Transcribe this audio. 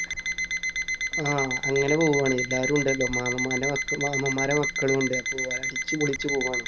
ആഹ് അങ്ങനെ പോവാണ്. എല്ലാരും ഉണ്ടല്ലോ. മാമൻമാരുടെ മക്ക മാമൻമാരുടെ മക്കളും ഉണ്ട്. അപ്പൊ അടിച്ചുപൊളിച്ചു പോവാണ്.